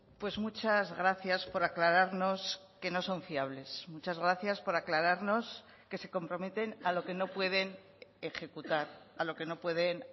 pues muchas gracias por aclararnos que no son fiables muchas gracias por aclararnos que se comprometen a lo que no pueden ejecutar a lo que no pueden